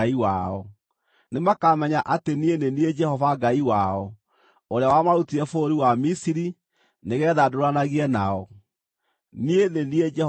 Nĩmakamenya atĩ niĩ nĩ niĩ Jehova Ngai wao, ũrĩa wamarutire bũrũri wa Misiri nĩgeetha ndũũranagie nao. Niĩ nĩ niĩ Jehova Ngai wao.